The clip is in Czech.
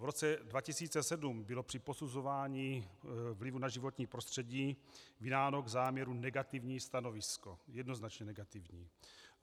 V roce 2007 bylo při posuzování vlivu na životní prostředí vydáno k záměru negativní stanovisko, jednoznačně negativní.